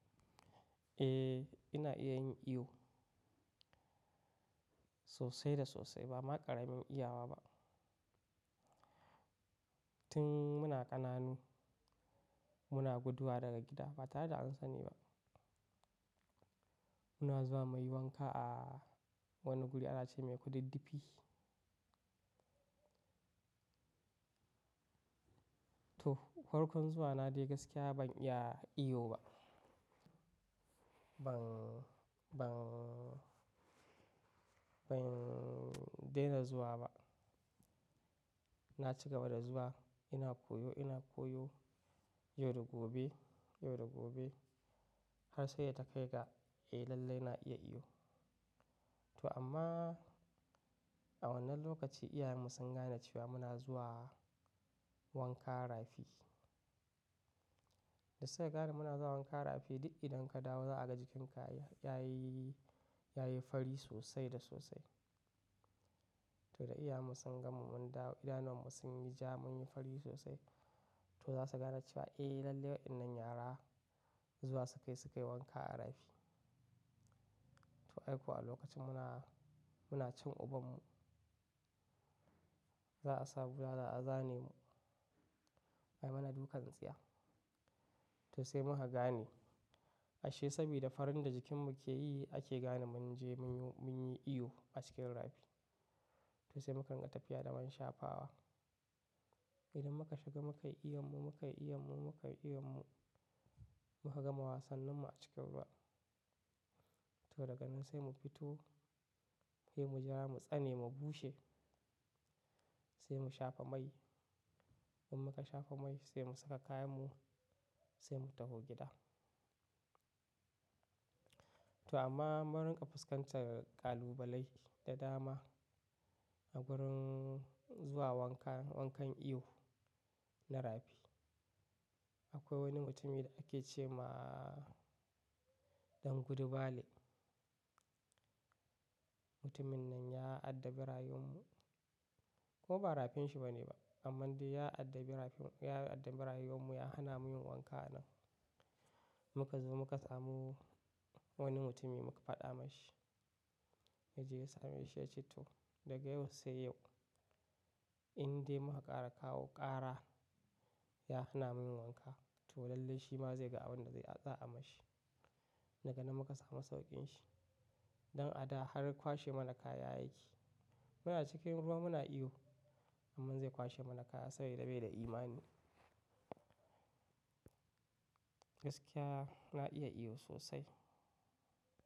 Eh ina iya yin iyo sosai da sosai. Ba ma ƙaramin iyawa ba. Tun muna ƙananu muna guduwa daga gida ba tare da an sani ba. Muna zuwa muyi wanka a wani guri ana ce mai kudiddifi. To, farkon zuwa na dai gaskiya ban iya iyo ba. Ban, ban, ban daina zuwa ba. Na cigaba da zuwa ina koyo ina koyo yau da gobe, yau da gobe har sai da ta kai ga eh lallai na iya iyo. To amma a wannan lokaci iyayenmu sun gane cewa muna zuwa wanka rafi. Da sai gari muna zuwa wanka rafi duk idan ka dawo za a ga jikin ka ya yi, ya yi fari sosai da sosai. To da iyayenmu sun gama mun dawo idan wannan mun yi ja mun yi fari sosai to za su gane cewa eh lallai waɗannan yara zuwa su kai su kai wanka a rafi. To ai kuwa a lokacin muna, muna cin ubanmu za'a sa bulala a zane mu. Ai mana dukan tsiya. To sai muka gane ashe saboda farin da jikin mu ke yi ake gane mun je mun yi iyo a cikin rafi. To sai mu kanga tafiya da mun shafa ba. Idan muka shiga muka yi iyon mu, muka yi iyon mu, muka yi iyon mu muka gama wasan nan mu a cikin ruwa. To daga nan sai mu fito sai mu ja mu tsane mu bushe. Sai mu shafa mai. In muka shafa mai sai mu saka kayan mu sai mu tafi gida. To amma mun riƙa fuskantar kalubalai da dama a wurin zuwa wanka, wankan iyo na rafi. Akwai wani mutumi da ake ce ma Ɗangudu Bale. Mutumin nan ya addabi rayuwar mu. Ko ba rafinsa ba ne ba amma dai ya addabi rafin, ya addabi rayuwar mu ya hana mu yin wanka a nan. Muka zo muka samu wani mutumi muka faɗa mashi. Yaje yi sa mashi ya ce to daga yau sai yau in dai muka ƙara kawo ƙara ya hana mu yin wanka. To lallai shi ma zai ga abin da zai a tsaya mashi. Daga nan muka samu sauƙin shi. Don a da har kwashe mana kaya ya yake. Muna cikin ruwa muna iyo amma zai kwashe mana kaya saboda bai da imani. Gaskiya na iya iyo sosai.